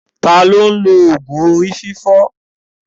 Ta ni ó ń lo òògùn orí fífọ́?